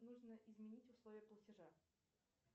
нужно изменить условия платежа